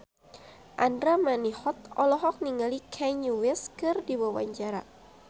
Andra Manihot olohok ningali Kanye West keur diwawancara